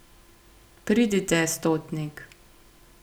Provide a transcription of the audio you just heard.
Pridite, stotnik!